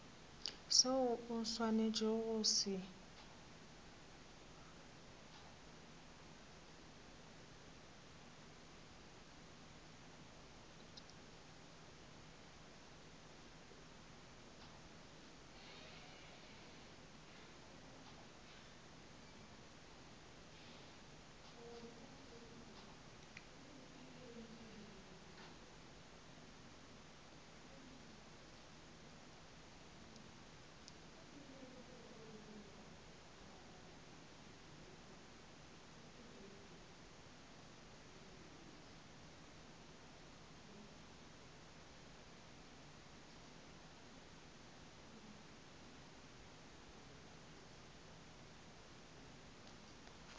seo o swanetšego go se